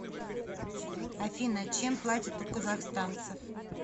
афина чем платят у казахстанцев